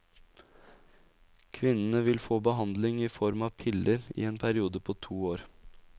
Kvinnene vil få behandlingen i form av piller i en periode på to år.